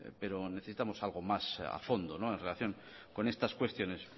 pero necesitamos algo más a fondo en relación con estas cuestiones